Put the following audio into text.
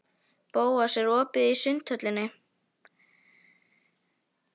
Bóas, er opið í Sundhöllinni?